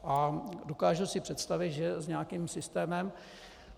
A dokážu si představit, že s nějakým systémem.